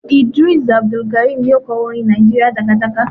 Idris Abdukarim ni ó kọ orin "Nigeria jàgàjágá''.